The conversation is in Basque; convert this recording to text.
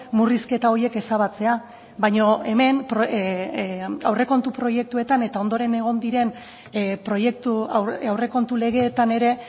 murrizketa horiek ezabatzea baina hemen aurrekontu proiektuetan eta ondoren egon diren proiektu aurrekontu legeetan ere